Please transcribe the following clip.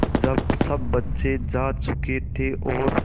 जब सब बच्चे जा चुके थे और